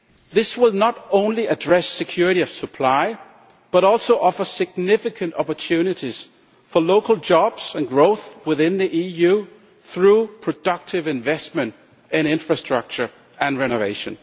This will not only address security of supply but also offer significant opportunities for local jobs and growth within the EU through productive investment in infrastructure and renovation.